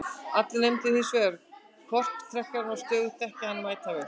Allir nefndu hins vegar korktrekkjara og sögðust þekkja hann mætavel.